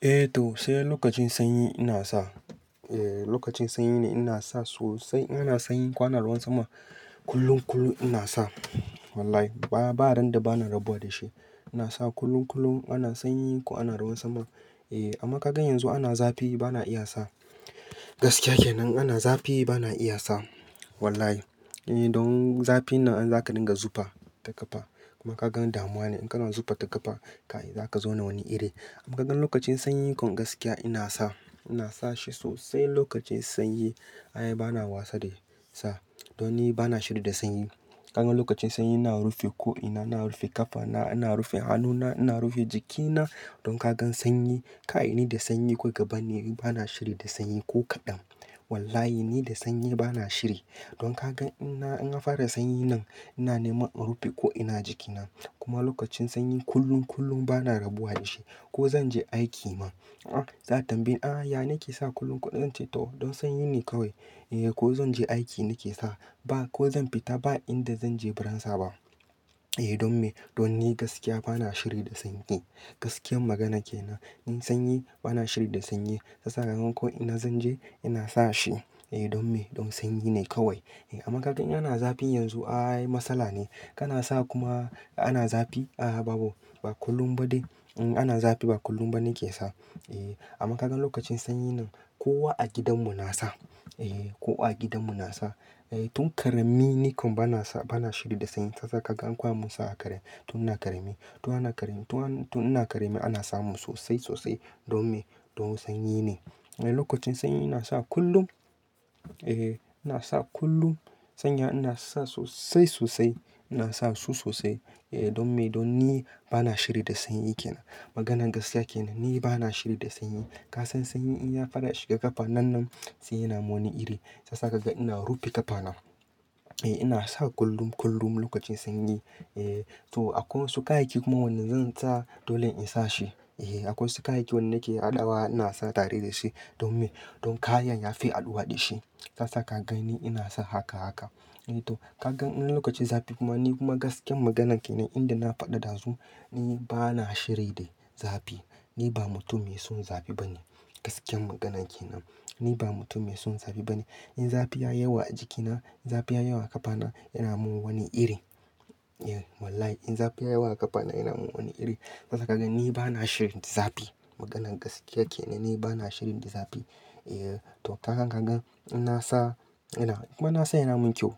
Eh to sai lokacin sanyi ina sa, eh lokacin sanyi ne ina sa sosai. In ana sanyi ko ana ruwan sama kullum kullum ina sa. Wallahi ba, ba randa bana rabuwa da shi. Ina sa kullum kullum ana sanyi ko ana ruwan sama. Eh amma kaga yanzu ana zafi bana iya sa. Gaskiya kenan ana zafi bana iya sa. Wallahi. Eh don zafinnan in zaka dinga zufa ta ƙafa. Kuma kaga damuwa ne in kana zufa ta ƙafa kai zaka zona wani iri. Amma kagan lokacin sanyi kom gaskiya ina sa, ina sa shi sosai lokacin sanyi. Ai bana wasa da sa. Don ni bana shiri da sanyi. Kaga lokacin sanyi ina rufe ko ina, ina rufe ƙafa na, ina rufe hannu na, ina rufe jikina. Don kagan sanyi kai ni da sanyi kawai ka banni ni bana shiri da sanyi ko kaɗan. Wallahi ni da sanyi bana shiri. Don kaga ina, in an fara sanyi nan ina neman in rufe ko ina jiki na. Kuma lokacin sanyi kullum kullum bana rabuwa da shi. Ko zanje aiki ma, a'a za'a tambayi ni "ah ya nake sa kullum?" zan ce to don sanyi ne kawai. Eh ko zan je aiki nike sa. Ba ko zan fita ba inda zanje baran sa ba. Eh don me? Don ni gaskiya bana shiri da sanyi. Gaskiyan magana kenan. In sanyi bana shiri da sanyi. Sasa ko inna zanje ina sa shi. Eh don me? Don sanyi ne kawai. Eh amma kaga in ana zafi yanzu ai masala ne. Kana sa kuma ana zafi. Ah a babu. Ba kullum ba dai. In ana zafi ba kullum bane nike sa. Eh amma kaga lokacin sanyi nan kowa a gidan mu na sa. Eh kowa a gidanmu na sa. Eh tun ƙarami ni kom bana sa, bana shiri da sanyi. Sasa kaga an koya mun sa a ƙare tun ina ƙarami. Tun ana ƙarami, tun ina ƙarami ana sa mun sosai sosai. Don me? Don sanyi ne. Eh lokacin sanyi ina sa kullum. Eh ina sa kullum. Sanya ina sa sosai sosai. Ina sa su sosai. Eh don me? Don ni bana shiri da sanyi ke nan. Maganar gaskiya kenan. Ni bana shiri da sanyi. Ka san sanyi in ya fara ya shiga ƙafa nannan, sai yana mun wani iri. Sasa kaga ina rufe ƙafa na. Eh ina sa kullum kullum lokacin sanyi. Eh to akwai wasu kayayyaki kuma wanda zan sa dole in sa shi. Eh akwai wasu kayayaki turon nake haɗawa ina sa tare da shi. Don me? Don kayan yafi haɗuwa da shi. Sasa kaga ni ina sa haka haka. Eh to kaga in lokacin zafi kuma ni kuma gaskiyan maganan kenan inda na faɗa dazu ni bana shiri de zafi. Ni ba mutum mai son zafi bane. Gaskiyan maganan kenan. Ni ba mutum mai son zafi bane. In zafi yayi yawa a jikina, zafi ya yawa a ƙafana yana mun wani iri. Eh wallahi in zafi ya yawa a kafana yana mun wani iri. Sasa kaga ni bana shirin zafi. Maganan gaskiyar kenan. Ni bana shirin da zafi. Eh to kaga gangan inna sa, ina kuma inna sa yana mun ƙyau.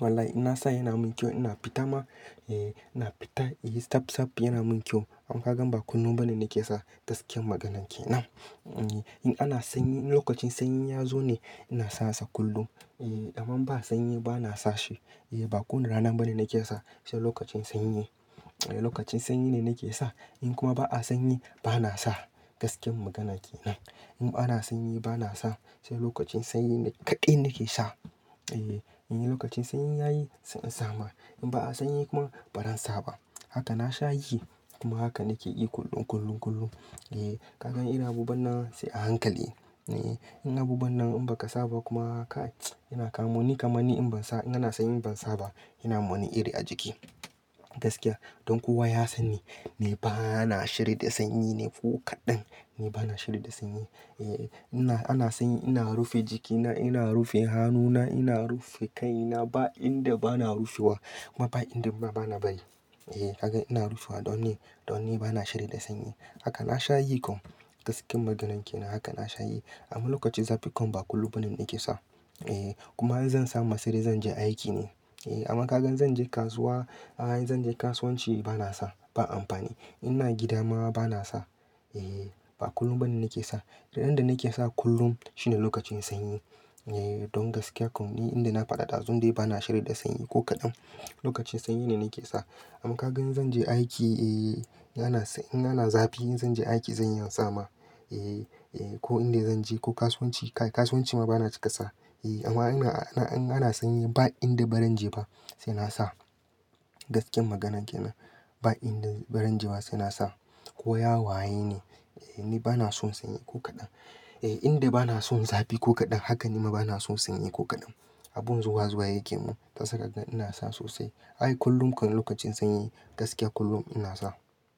Wallahi inna sa yana mun ƙyau. Ina fita ma, eh ina fita. Eh inyi tsaftsaf yana mun kyau. Amma kagan ba kullum bane nake sa. Gaskiyan maganan kenan. In ana sanyi, in lokacin sanyi yazo ne inasa sa kullum. Eh amman ba sanyi bana sa shi. Eh ba ko wane rana bane nake sa sai lokacin sanyi. Eh lokacin sanyi ne nake sa. In kuma ba a sanyi bana sa. Gaskiyan magana kenan. In ana sanyi bana sa. Sai lokacin sanyi ne kaɗai nake sa. Eh in lokacin sanyi yayi sai in sa ma. In ba'a sanyi kuma baran sa ba. Haka nasha yi kuma haka nake yi kullum kullum kullum. Eh kaga irin abubuwan nan sai a hankali. Eh in abubuwan nan in baka sa ba kuma kai, yana ka muni kamanni in ban sa, in ana sanyi bansa ba yana mani wani iri a jiki. Gaskiya. Don kowa ya san ni. Ni bana shiri da sanyi ne ko kaɗan. Ni bana shiri da sanyi. Eh ina ana sanyi ina rufe jiki na, ina rufe hannu na, ina rufe ƙai na ba inda bana rufewa kuma ba inda ma bana bari. Eh kaga ina rufewa don ni, don ni bana shiri da sanyi. Haka nasha yi kom. Gaskiyan maganan ke nan. Haka na sha yi. Amma lokacin zafi kuma ba kullum bane nake sa. Eh kuma in zan samu siri zanje aiki ne. Eh amma kaga in zanje kasuwa, ah in zanje kasuwanci bana sa. Ba amfani. In ina gida ma bana sa. Eh ba kullum bane nake sa. Randa nake sa kullum shine lokacin sanyi. Eh don gaskiya kom ni inda na faɗa ɗazun dai bana shiri da sanyi ko kaɗan. Lokacin sanyi ne nake sa. Amma kaga in zanje aiki, eh yana, in ana zafi in zanje aiki zan iya in sa ma. Eh eh ko inda zanje ko kasuwanci. Kai kasuwanci ma bana cika sa. Eh amma ina, a in ana sanyi ba inda baran je ba sai nasa. Gaskiyan maganan ke nan. Ba inda baran je ba sai na sa. Ko ya waye ni. Eh ni bana son sanyi ko kaɗan. Eh inda bana son zafi ko kaɗan haka nima bana son sanyi ko kaɗan. Abun zuwa zuwa yake mun. Sasa kaga ina sa sosai. Ai kullum kom lokacin sanyi gaskiya kullum ina sa.